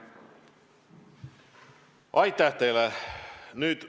Aitäh teile!